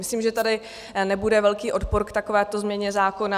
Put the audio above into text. Myslím, že tady nebude velký odpor k takovéto změně zákona.